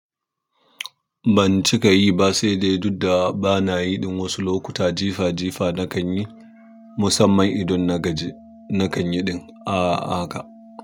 Ban cika yi ba saidai duk da bana yi ɗin wasu lokuta jifa jifa na kan yi musamman idon nagaji nakanyi ɗin a haka.